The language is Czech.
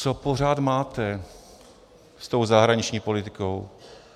Co pořád máte s tou zahraniční politikou?